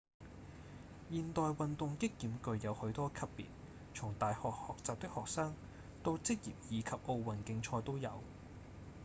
現代運動擊劍具有許多級別從大學學習的學生到職業以及奧運競賽都有